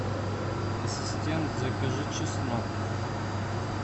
ассистент закажи чеснок